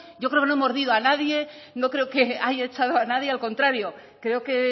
yo creo que no he mordido a nadie no creo que haya echado a nadie al contrario creo que